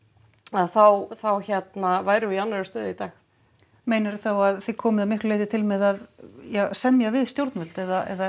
að þá þá værum við í annarri stöðu í dag meinarðu þá að þið komið að miklu leyti til með að semja við stjórnvöld eða